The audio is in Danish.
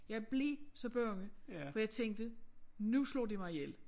Jeg blev så bange for jeg tænkte nu slår de mig ihjel